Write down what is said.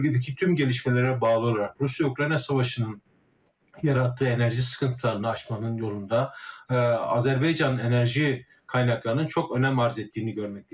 Bölgədəki tüm gəlişmələrə bağlı olaraq Rusiya-Ukrayna savaşının yaratdığı enerji sıxıntılarını aşmanın yolunda Azərbaycan enerji qaynaqlarının çox önəm arz etdiyini görməkdəyiz.